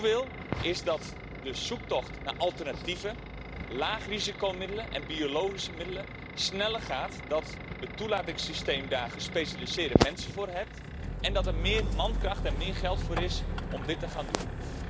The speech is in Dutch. Waar ik naartoe wil is dat de zoektocht naar alternatieven, lagerisicomiddelen en biologische middelen sneller gaat, dat het toelatingssysteem daar gespecialiseerde mensen voor heeft en dat er meer mankracht en meer geld voor is om dit te gaan doen.